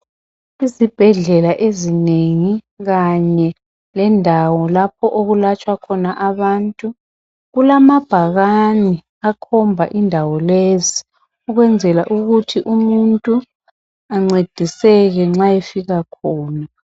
Izibhedlela ezinengi kanye lendawo lapho okulatshwa khona abantu kulamabhakani akhomba indawo lezi ukwenzela ukuthi umuntu ancediseke nxa efika khona .